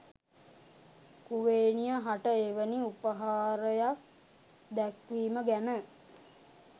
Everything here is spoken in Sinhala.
කුවේණිය හට එවැනි උපහාරයක් දැක්වීම ගැන